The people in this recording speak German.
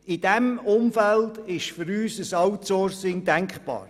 In dem Umfeld ist für uns ein Outsourcing denkbar.